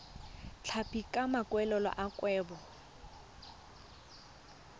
tlhapi ka maikaelelo a kgwebo